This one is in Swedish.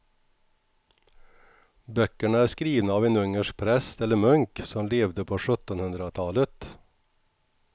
Böckerna är skrivna av en ungersk präst eller munk som levde på sjuttonhundratalet.